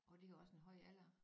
Og det er også en høj alder